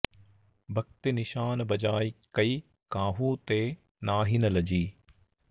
भक्ति निशान बजाय कै काहू ते नाहिन लजी